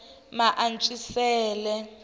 maantswisele